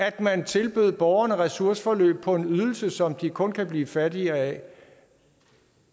at man tilbød borgerne ressourceforløb på en ydelse som de kun kan blive fattigere af